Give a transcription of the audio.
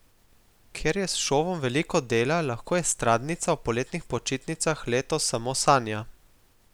Ker je s šovom veliko dela, lahko estradnica o poletnih počitnicah letos samo sanja.